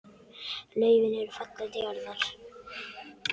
Laufin eru fallin til jarðar.